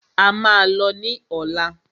A máà lọ ní ọ̀lá.